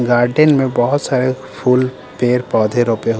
garden में बहुत सारे फ-फूल पेड़-पौधे रोपे हुए--